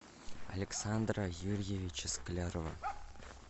александра юрьевича склярова